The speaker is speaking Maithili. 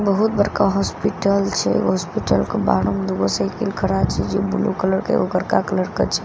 बहुत बड़का हॉस्पिटल छे हॉस्पिटल के बाहरो में दुगो साइकिल खड़ा छे जे ब्लू कलर के एगो करका कलर के छे।